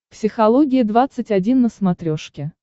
психология двадцать один на смотрешке